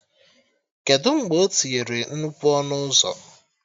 Kedụ mgbe o tinyere nnukwu ọnụ ụzọ?